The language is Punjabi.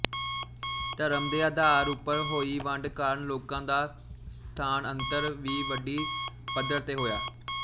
ਧਰਮ ਦੇ ਅਧਾਰ ਉਪਰ ਹੋਈ ਵੰਡ ਕਾਰਨ ਲੋਕਾਂ ਦਾ ਸਥਾਨਅੰਤਰ ਵੀ ਵੱਡੀ ਪੱਧਰ ਤੇ ਹੋਇਆ